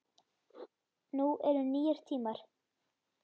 Nú eru nýir tímar.